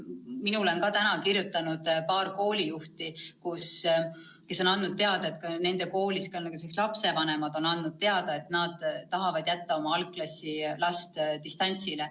Mulle on täna kirjutanud paar koolijuhti, kes teatasid, et nende koolis on lapsevanemad teada andnud, et nad tahavad jätta oma algklassilapse distantsõppele.